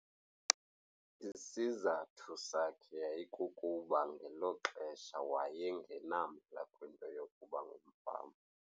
Isizathu sakhe yayikukuba ngelo xesha wayengenamdla kwinto yokuba ngumfama.